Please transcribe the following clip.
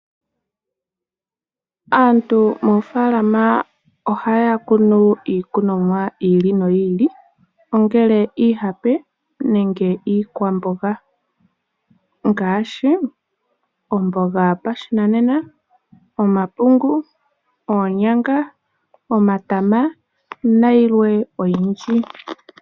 Aantu moofaalama ohaya kunu iikunomwa yi ili noyi ili ongele iihape nenge iikwamboga ngaashi omboga yopashinanena, omapungu, oonyama, omatama nayilwe oyindji.